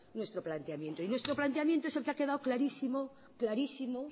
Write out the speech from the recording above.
nuestro planteamiento y nuestro planteamiento es el que ha quedado clarísimo clarísimo